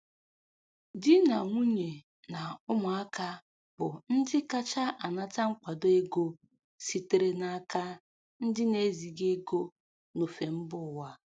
Di na nwunye na ụmụaka bụ ndị kacha anata nkwado ego sitere n’aka ndị na-eziga ego n’ofe mba ụwa.